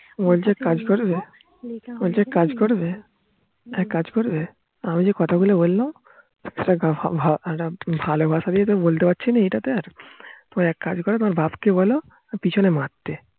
বলছি এক কাজ করবে, বলছি এক কাজ করবে, এক কাজ করবে, আমি যে কথা গুলো বললাম সেটা ভালোবাসা দিয়ে তো বলতে পারছি না এটা তে এক কাজ করো তোমার বাপ্ কে বোলো পিছনে মারতে